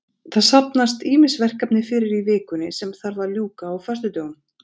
Það safnast ýmis verkefni fyrir í vikunni sem þarf að ljúka á föstudögum.